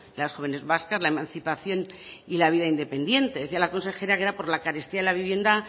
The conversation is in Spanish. los y las jóvenes vascas la emancipación y la vida independiente decía la consejera que la carestía de la vivienda